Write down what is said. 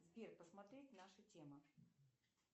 сбер посмотреть наша тема